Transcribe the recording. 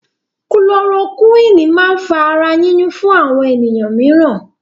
kulorokúwínì máa ń fa ara yíyún fún àwọn ènìyàn míìràn.